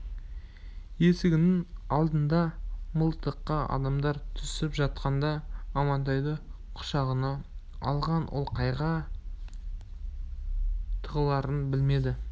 есігінің алдында мылтықты адамдар түсіп жатқанда амантайды құшағына алған ол қайда тығыларын білмеді